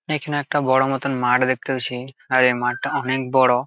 এখানে একটা বড় মত মাঠ দেখতে পাছি আর এ মাঠটা অনেক বড়।